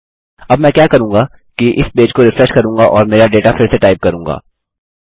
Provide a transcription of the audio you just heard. अब मैं क्या करूँगा कि इस पेज को रिफ्रेश करूँगा और मेरा डेटा फिर से टाइप करूँगा